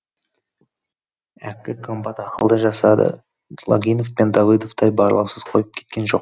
әккі комбат ақылды жасады логинов пен давыдовтай барлаусыз қойып кеткен жоқ